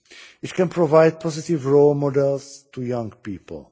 It can provide positive role models to young people.